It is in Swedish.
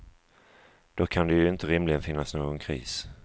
Då kan det ju inte rimligen finnas någon kris.